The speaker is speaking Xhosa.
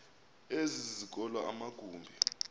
ezi zikolo amagumbi